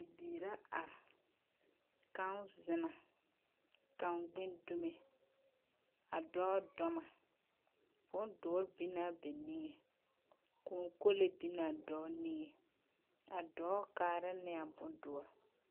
Bibiiri ra are, kaŋ zeŋ na, kaŋ gbin dume, a dɔɔ dɔb na. Bondoɔre binnaa ba niŋeŋ. Kōɔ kole binnaa dɔɔ niŋeŋ. A dɔɔ kaarɛ ne a bondɔre.